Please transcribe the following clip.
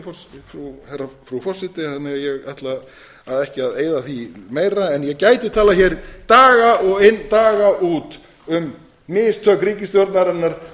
tíma mínum lokið frú forseti þannig að ég ætla ekki að eyða því meira en ég gæti talað hér daga inn og daga út um mistök ríkisstjórnarinnar